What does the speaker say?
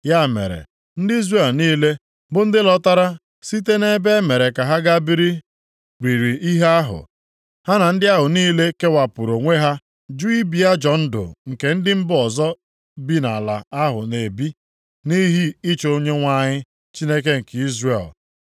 Ya mere, ndị Izrel niile bụ ndị ahụ lọtara site nʼebe e mere ka ha gaa biri riri ihe ahụ, ha na ndị ahụ niile kewapụrụ onwe ha juu ibi ajọọ ndụ nke ndị mba ọzọ bi nʼala ahụ na-ebi, nʼihi ịchọ Onyenwe anyị, Chineke nke Izrel.